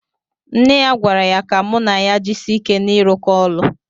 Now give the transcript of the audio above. Nne ya gwara ya ka mụ na ya jisie ike na irụkọ ọlụ